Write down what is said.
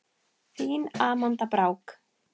Þín Amanda Brák.